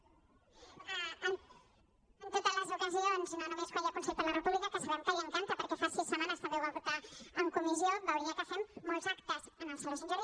perdó en totes les ocasions no només quan hi ha consell per la república que sabem que li encan·ta perquè fa sis setmanes també ho va portar en comissió veuria que fem molts actes en el saló sant jordi